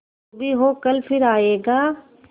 जो भी हो कल फिर आएगा